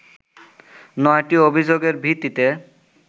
৯টি অভিযোগের ভিত্তিতে